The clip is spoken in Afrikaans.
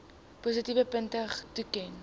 positiewe punte toeken